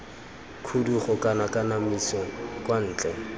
khudugo kana kanamiso kwa ntle